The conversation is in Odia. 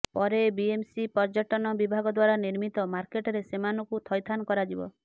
ପରେ ବିଏମ୍ସି ପର୍ଯ୍ୟଟନ ବିଭାଗ ଦ୍ୱାରା ନିର୍ମିତ ମାର୍କେଟରେ ସେମାନଙ୍କୁ ଥଇଥାନ କରାଯିବ